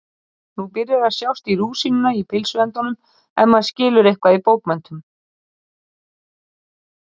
Nú byrjar að sjást í rúsínuna í pylsuendanum ef maður skilur eitthvað í bókmenntum.